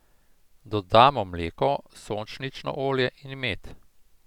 Dodamo mleko, sončnično olje in med.